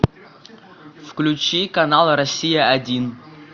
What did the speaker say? включи канал россия один